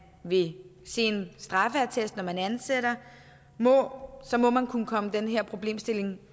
vil se en straffeattest når man ansætter må kunne komme den her problemstilling